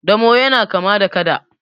damo yana kama da kada